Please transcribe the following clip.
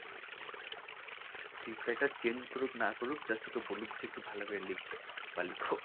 Script writer change করুক না করুক just ওকে বলুক যে ভালো করে লিখ বা লিখো